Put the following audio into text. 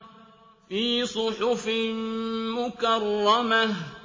فِي صُحُفٍ مُّكَرَّمَةٍ